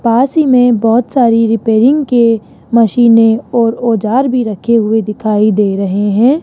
पास ही में बहुत सारी रिपेयरिंग के मशीनें और औजार भी रखे हुए दिखाई दे रहे हैं।